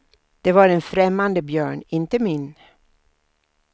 Det var en främmande björn, inte min.